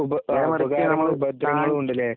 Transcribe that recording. ഉപ ഉപദ്രവങ്ങളൂണ്ടില്ലേ?